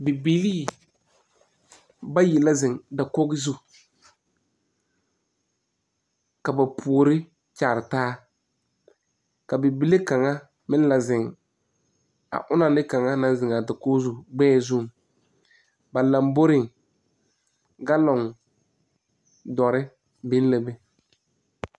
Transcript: Bibilii bayi la zeŋ dakoge zu. Ka ba poore kyaare taa. Ka bibile kanga meŋ le zeŋ a ona ne kanga na zeŋ a dakoge zu gbɛɛ zu. Ba lamboreŋ, galoŋ duore biŋ la be.